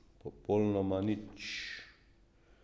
Popolnoma nič.